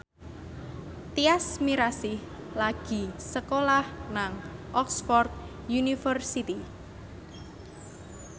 Tyas Mirasih lagi sekolah nang Oxford university